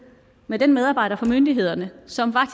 med den medarbejder fra myndighederne som